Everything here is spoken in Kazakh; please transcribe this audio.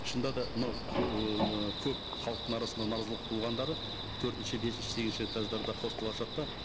шынында да мынау ыыы көп халықтың арасында наразылық туылғандары төртінші бесінші сегізінші этаждарда хостел ашады да